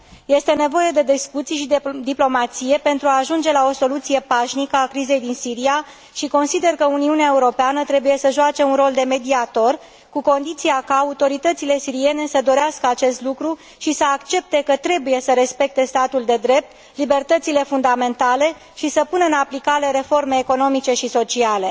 Este nevoie de discuții și diplomație pentru a ajunge la o soluție pașnică a crizei din Siria și consider că Uniunea Europeană trebuie să joace un rol de mediator, cu condiția ca autoritățile siriene să dorească acest lucru și să accepte că trebuie să respecte statul de drept, libertățile fundamentale și să pună în aplicare reforme economice și sociale.